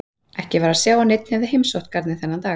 Ekki var að sjá að neinn hefði heimsótt garðinn þennan dag.